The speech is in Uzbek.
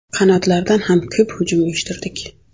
Qanotlardan ham ko‘p hujum uyushtirdik.